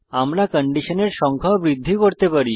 আমরা কন্ডিশনের সংখ্যাও বৃদ্ধি করতে পারি